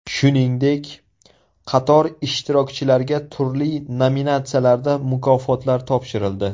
Shuningdek, qator ishtirokchilarga turli nominatsiyalarda mukofotlar topshirildi.